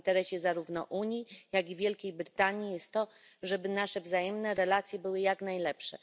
W interesie zarówno Unii, jak i Wielkiej Brytanii jest, żeby nasze wzajemne relacje były jak najlepsze.